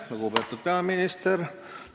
Lugupeetud peaminister!